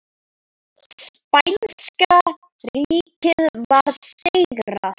Spænska ríkið var sigrað.